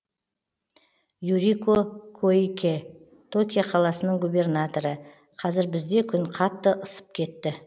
юрико коикэ токио қаласының губернаторы қазір бізде күн қатты ысып кетті